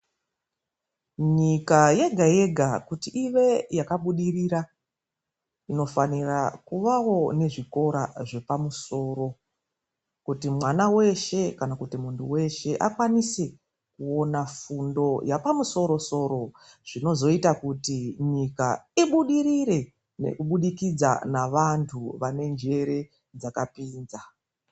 Nyika yega yega kuti ive yakabudirira, inofanira kuvawo nezvikora zvepamusoro, kuti mwana weshe kana kuti munhu weshe akwanise kuona fundo yapamusoro soro zvinozoita kuti nyika ibudirire nekubudikidza nevantu vane njere dzakapinza.